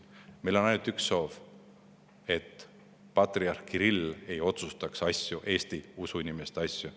Meil on ainult üks soov: et patriarh Kirill ei otsustaks Eesti inimeste usuasju.